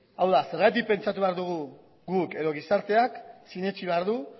hau da zergatik pentsatu behar dugu guk edo gizarteak sinetsi behar du